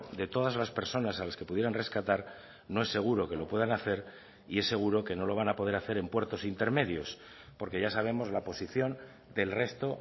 de todas las personas a las que pudieran rescatar no es seguro que lo puedan hacer y es seguro que no lo van a poder hacer en puertos intermedios porque ya sabemos la posición del resto